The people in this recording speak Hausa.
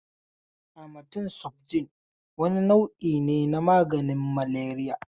Amatem sofjel wani nau'i ne na maganin maleriya.